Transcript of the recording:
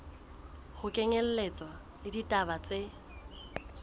ho kenyelletswa le ditaba tse